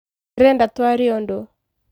Ndĩreda twarie ũdũ